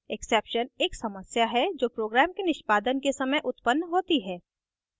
exception एक समस्या है जो program के निष्पादन के समय उत्पन्न होती है